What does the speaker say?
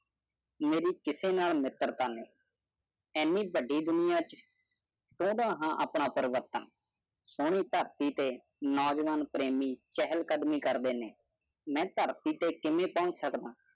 ਮੈਨੂੰ ਟੁੱਟਣ ਨਾਲ ਲੱਚਰ ਗਾਣੇਜਦੋਂ ਧੁਨੀਆਂਮੇਰਾ ਆਪਣਾ ਪੱਰਸਪਰਭਾਤੇ ਪ੍ਰਭ ਨਾਮੁ ਕਰਿ ਟਹਲ ਕਰਣੀ ਕਾਰ ਦਾ ਨਹੀਂਮੈਂ ਤਾਂ ਉਸ ਜ਼ਮੀਨ ਤੋਂ ਸੜਕ